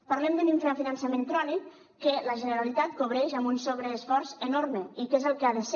parlem d’un infrafinançament crònic que la generalitat cobreix amb un sobreesforç enorme i que és el que ha de ser